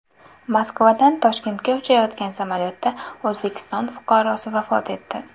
Moskvadan Toshkentga uchayotgan samolyotda O‘zbekiston fuqarosi vafot etdi.